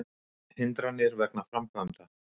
Hindranir vegna framkvæmda